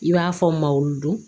I b'a fɔ malo don